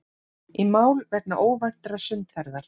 Í mál vegna óvæntrar sundferðar